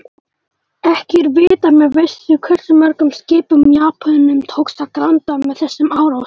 Ekki er vitað með vissu hversu mörgum skipum Japönum tókst að granda með þessum árásum.